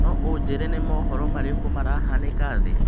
No ũnjĩĩre nĩ mohoro marĩkũ marahanika thĩ?